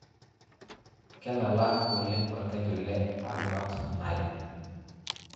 Kelala oleng' orkeju le Albert Nile